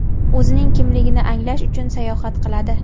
o‘zining kimligini anglash uchun sayohat qiladi.